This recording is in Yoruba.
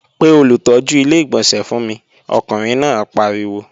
Pe olùtọ́jú Ilé-ìgbọ̀nsẹ̀ fún mi! Ọkùnrin náà pariwo